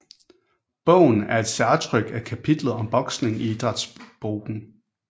Bogen er et særtryk af kapitlet om boksning i Idrætsboken